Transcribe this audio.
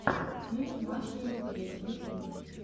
фильм маша и медведь ютуб